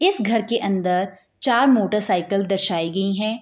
इस घर के अंदर चार मोटरसाइकिल दर्शाई गई हैं।